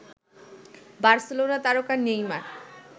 Barcelona তারকা Neymar